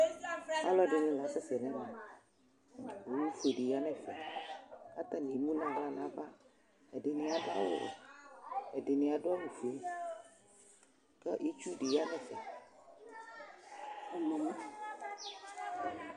Alʋ ɛdini lasɛsɛ nʋ ɛmɛ Owʋfʋe di yanʋ ɛfɛ kʋ atani emʋ nʋ aɣla nʋ ava Ɛdini adʋ awʋwɛ, ɛdini adʋ awʋfue kʋ itsudi yanʋ ɛfɛ